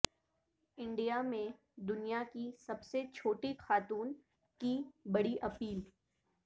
India میں دنیا کی سب سے چھوٹی خاتون کی بڑی اپیل